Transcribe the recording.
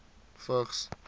vigs